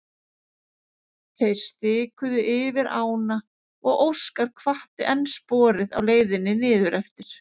Þeir stikuðu yfir ána og Óskar hvatti enn sporið á leiðinni niður eftir.